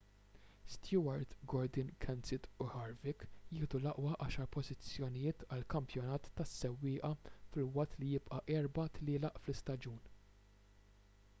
stewart gordon kenseth u harvick jieħdu l-aqwa għaxar pożizzjonijiet għall-kampjonat tas-sewwieqa filwaqt li jibqa' erba' tlielaq fl-istaġun